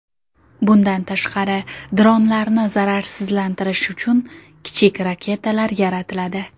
Bundan tashqari, dronlarni zararsizlantirish uchun kichik raketalar yaratiladi.